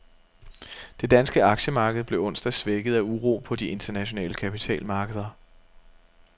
Det danske aktiemarked blev onsdag svækket af uro på de internationale kapitalmarkeder.